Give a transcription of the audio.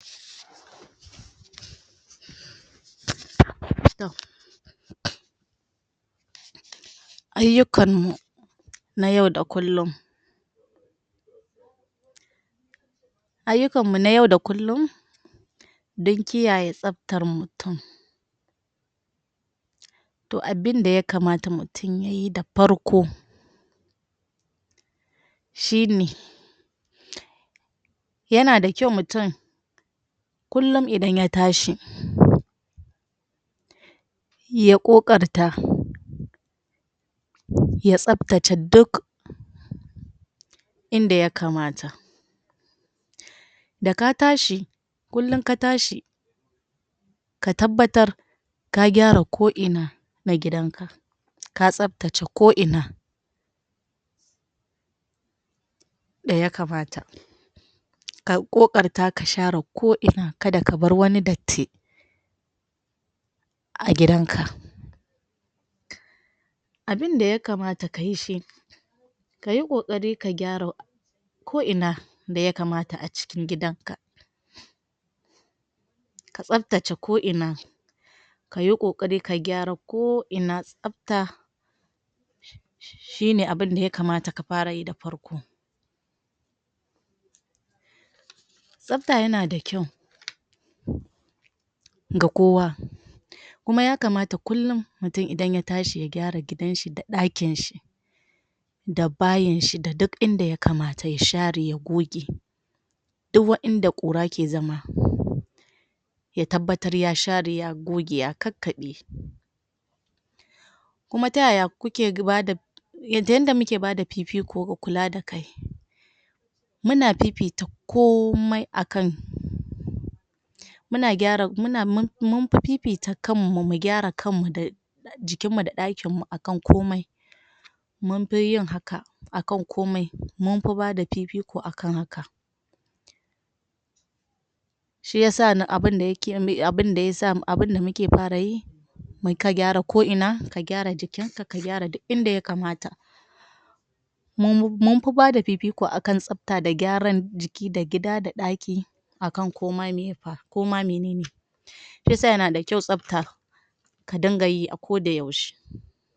Toh ayukan mu na yau da kullum ayukan mu na yau da kullum dun kiyaye sabtar mutum toh abinda ya kamata mutum yayi da parko shi ne ya na da kyau mutum kullum idan ya tashi ya ƙoƙarta ya sabtata duk inda ya kamata da ka tashi, kullum ka tashi ka tabbatar ka gyara ko ina, na gidan ka ka sabtacce ko ina da ya kamata ka ƙoƙarta ka shara koina ka da ka bar wani datti a gidan ka abinda ya kamata ka yi shi ka yi ƙoƙari ka gyara koina da ya kamata a cikin gidan ka ka sabtacce koina ka yi ƙoƙari ka gyara koina sabta shi ne abunda ya kamata ka fara yi da farko sabta ya na da kyau ga kowa kuma ya kamata kullum mutum idan ya tashi, ya gyara gidanshi da daƙin shi da bayin shi da duk inda ya kamata ya share ya goge duk waenda kura ke zama ya tabbatar ya share ya goge ya kakabe kuma ta yaya kuke bada yadda yanda mu ke ba da kifi ko kulla da kai muna ffita komai a kan mu na gyara, mu na mun mun fi fifita kan mu mu gyara kanmu da jikin mu da dakin mu a kan komai mun fi yin haka a kan komai mun fi ba da fifiko a kan haka. Shiyasa abunda ya ke abunda ya sa abunda mu ke fara yi mu ka gyara koina, ka gyara jikin ka, ka gyara duk inda ya kamata mun mun fi ba da fifiko a kan sabta da gyaran jiki da gida da daki a kan ko ma me fa, ko ma menene shiyasa ya na da kyau sabta ka dinga yi a ko da yaushe.